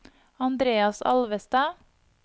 Andreas Alvestad